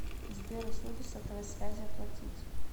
сбер услуги сотовой связи оплатить